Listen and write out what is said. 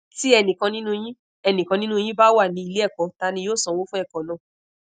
ti enikan ninu yin enikan ninu yin ba wa ni ile eko ta ni yoo sanwo fun eko naa